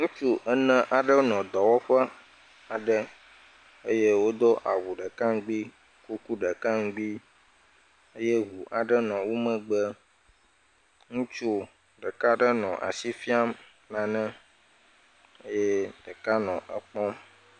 Ŋutsu ene aɖewo nɔ dɔwɔƒe aɖe eye wodo awu ɖeka ŋgbi kuku ɖeka ŋgbi eye ʋu aɖe nɔ womegbe ŋutsu ɖeka aɖe nɔ asi fiam nane eye ɖeka nɔ ekpɔm